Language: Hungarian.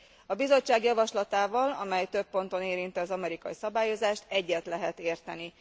A Bizottság javaslatával, amely több ponton érinti az amerikai szabályozást, egyet lehet érteni.